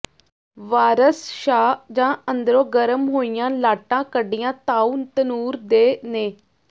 ਵਾਰਸ ਸ਼ਾਹ ਜਾਂ ਅੰਦਰੋਂ ਗਰਮ ਹੋਇਆ ਲਾਟਾਂ ਕੱਢੀਆਂ ਤਾਉ ਤਨੂਰ ਦੇ ਨੇ